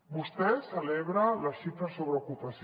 vostè celebra les xifres sobre ocupació